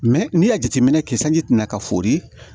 n'i y'a jateminɛ kɛ sanji tina ka fori